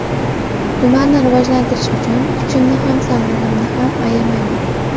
Tumanni rivojlantirish uchun kuchimni ham sog‘lig‘imni ham ayamayman.